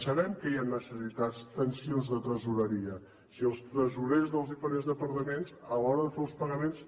sabem que hi han necessitats tensions de tresoreria si els tresorers dels diferents departaments a l’hora de fer els pagaments